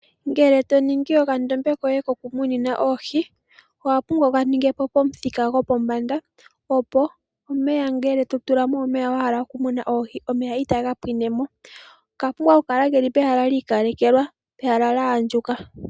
Ngele to ningi okandombe koye kokumunina oohi owa pumbwa wu kaninge po pomuthika gopombanda opo omeya ngele totula mo omeya wa hala okumuna oohi omeya itaga pwine mo. Okapumbwa okukala keli pehala lyiikalekelwa pehala lya andjuka.